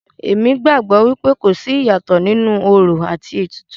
Èmi gbàgbọ́ wípé kò sí ìyàtọ̀ nínú orò àti ètùtù.